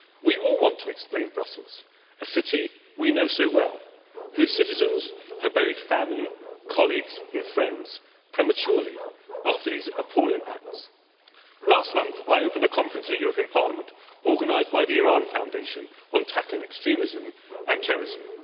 We all want to explain Brussels a city we know so well, whose citizens have buried family, colleagues and friends prematurely after these appalling acts. Last month I opened a conference of the European Parliament, organised by the Iman Foundation, on tackling extremism and terrorism.